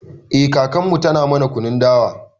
Eh kakarmu tana mana kunun dawa